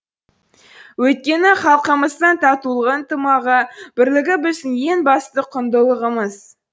өйткені халқымыздың татулығы ынтымағы бірлігі біздің ең басты құндылығымыз